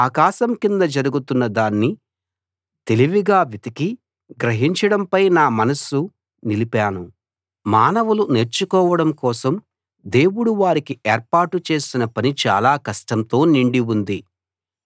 ఆకాశం కింద జరుగుతున్న దాన్ని తెలివిగా వెతికి గ్రహించడంపై నా మనస్సు నిలిపాను మానవులు నేర్చుకోవడం కోసం దేవుడు వారికి ఏర్పాటు చేసిన పని చాలా కష్టంతో నిండి ఉంది